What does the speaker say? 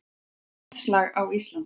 Loftslag á Íslandi